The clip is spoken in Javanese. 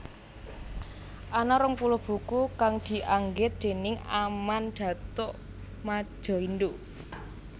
Ana rong puluh buku kang dianggit déning Aman Datuk Madjoindo